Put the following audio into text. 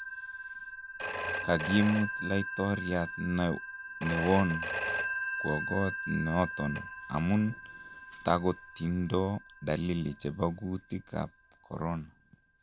Kagimut Laitoriat newon kwo kot noton amun tagotindo dalili chebo guutik ab corona.